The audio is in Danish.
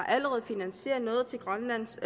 allerede har finansieret noget til grønlands